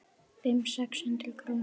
Fimm, sex hundruð krónur?